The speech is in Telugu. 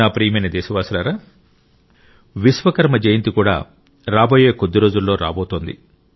నా ప్రియమైన దేశవాసులారా విశ్వకర్మ జయంతి కూడా రాబోయే కొద్ది రోజుల్లో రాబోతోంది